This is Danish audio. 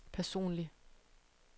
personlig